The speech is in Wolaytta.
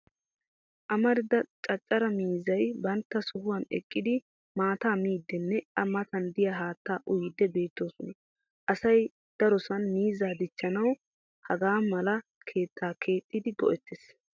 Amarida caccara miizzay bantta sohuwan eqqidi maattaa miiddinne a Matan diya haattaa uyiiddi beettoosona. Asay darosan miizzaa dichcjanawu hagaa mala keettaa keexxidi go'ettes